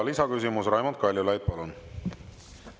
Lisaküsimus, Raimond Kaljulaid, palun!